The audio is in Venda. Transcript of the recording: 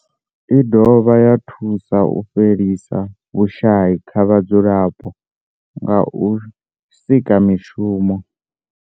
I dovha ya thusa u fhelisa vhushayi kha vhadzulapo nga u sika mishumo.